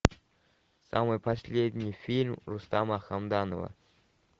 самый последний фильм рустама хамдамова